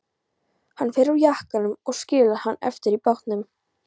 Hann fer úr jakkanum og skilur hann eftir í bátnum.